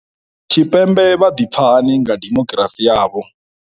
Tshipembe vha ḓipfa hani nga dimokirasi yavho.